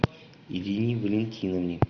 ирине валентиновне